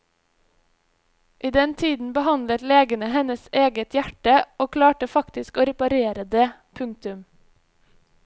I den tiden behandlet legene hennes eget hjerte og klarte faktisk å reparere det. punktum